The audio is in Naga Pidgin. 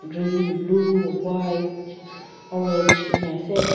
green blue white orange enia ase.